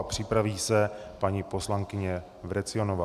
A připraví se paní poslankyně Vrecionová.